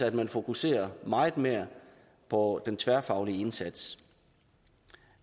at man fokuserer meget mere på den tværfaglige indsats